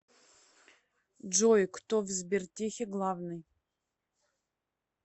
джой кто в сбертехе главный